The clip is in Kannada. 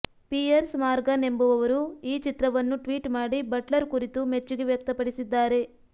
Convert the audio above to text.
ಪಿಯರ್ಸ್ ಮಾರ್ಗನ್ ಎಂಬುವವರು ಈ ಚಿತ್ರವನ್ನು ಟ್ವೀಟ್ ಮಾಡಿ ಬಟ್ಲರ್ ಕುರಿತು ಮೆಚ್ಚುಗೆ ವ್ಯಕ್ತಪಡಿಸಿದ್ದಾರೆ